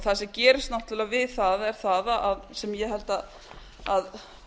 það sem gerist náttúrlega við það er það sem ég held að